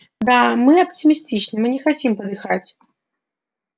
да мы оптимистичны мы не хотим подыхать